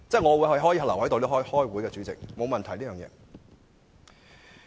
我可以留下來開會，我沒有問題。